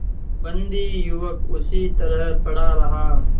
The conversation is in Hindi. बंदी युवक उसी तरह पड़ा रहा